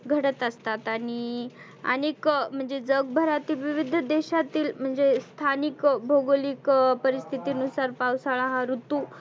घडत असतात. आणि आणि क म्हणजे जग भरातील विवीध देशातील म्हणजे स्थानीक भौगोलीक परिस्थिती नुसार पावसाळा हा ऋतू